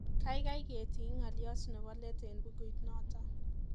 Kaikai ketiny ngaliot nebo let eng bukuit nato